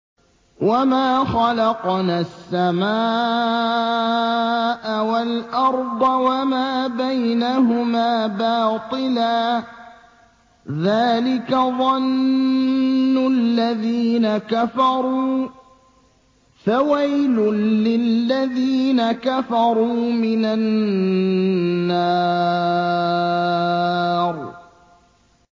وَمَا خَلَقْنَا السَّمَاءَ وَالْأَرْضَ وَمَا بَيْنَهُمَا بَاطِلًا ۚ ذَٰلِكَ ظَنُّ الَّذِينَ كَفَرُوا ۚ فَوَيْلٌ لِّلَّذِينَ كَفَرُوا مِنَ النَّارِ